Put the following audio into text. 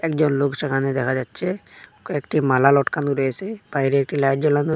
একজন লোক সেখানে দেখা যাচ্ছে কয়েকটি মালা লটকানো রয়েসে বাইরে একটি লাইট জ্বালানো--